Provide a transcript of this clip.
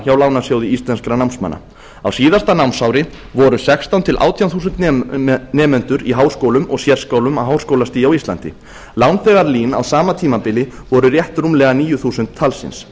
hjá lánasjóði íslenskra námsmanna á síðasta námsári voru sextán til átján þúsund nemendur í háskólum og sérskólum á háskólastigi á íslandi lánþegar lín á sama tímabili voru rétt rúmlega níu þúsund talsins